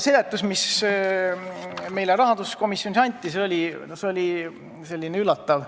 Seletus, mis meile rahanduskomisjonis anti, oli selline üllatav.